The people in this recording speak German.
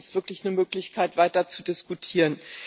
Das gibt uns wirklich eine Möglichkeit, weiter zu diskutieren.